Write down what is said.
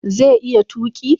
Zai iya tuƙi